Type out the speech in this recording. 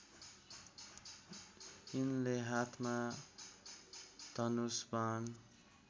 यिनले हातमा धनुष बाण